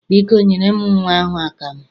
Biko, nyere m nnwa ahụ akamụ.